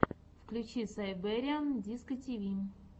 включи сайбериан дискотиви